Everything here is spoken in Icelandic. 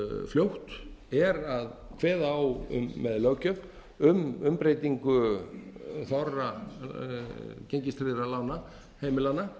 fljótt er að kveða á um með löggjöf um umbreytingu þorra gengistryggðra lána heimilanna